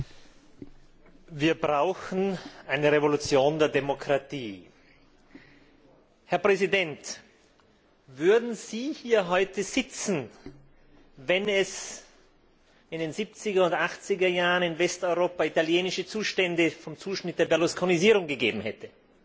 Herr Präsident! Wir brauchen eine Revolution der Demokratie. Herr Präsident, würden Sie hier heute sitzen, wenn es in den siebziger und achtziger Jahren in Westeuropa italienische Zustände vom Zuschnitt der Berlusconisierung gegeben hätte?